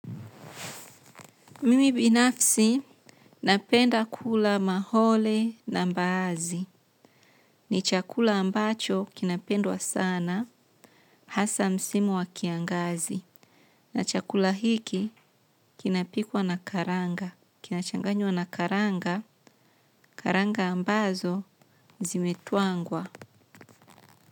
Mimi binafsi napenda kula mahole na mbaazi. Ni chakula ambacho kinapendwa sana hasa msimu wa kiangazi. Na chakula hiki kinapikwa na karanga. Kinachanganywa na karanga, karanga ambazo zimetwangwa.